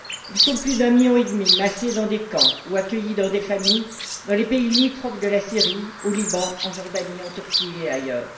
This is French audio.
Ils sont plus d'un million et demi, massés dans des camps ou accueillis dans des familles dans les pays limitrophes de la Syrie, au Liban, en Jordanie, en Turquie et ailleurs.